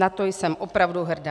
Na to jsem opravdu hrdá.